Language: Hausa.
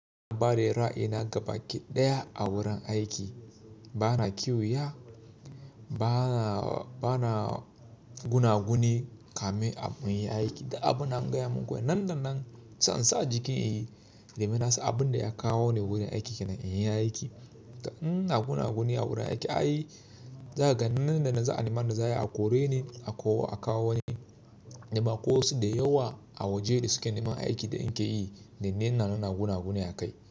Ware ra'ayina gabaki ɗaya a wurin aiki. Bana kuiya, bana gunaguni kamin in yi aiki, duk abun da na gaya muku nan da nan zan sa jikin in yi, domin na san abin da ya kawo ni wurin aiki yana yi aiki. In ina gunaguni a wurin aiki, za ka ga nan da nan za a nemi yanda za a yi a kore ni, a kawo wani, da akwai wasu da yawa a waje da suke neman aiki da in keyi, da ni ina nan ina gunaguni a kai.